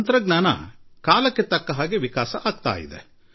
ತಂತ್ರಜ್ಞಾನ ತನ್ನ ಕೆಲಸ ಮಾಡುತ್ತಿದೆ